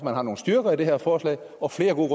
der er nogle styrker i det her forslag og flere gode